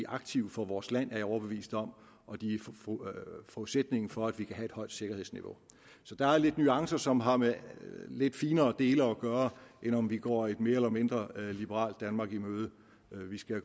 aktiv for vores land er jeg overbevist om og de er forudsætningen for at vi kan have et højt sikkerhedsniveau så der er lidt nuancer som har med lidt finere dele at gøre end om vi går et mere eller mindre liberalt danmark i møde